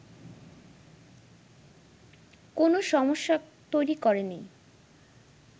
কোন সমস্যা তৈরি করেনি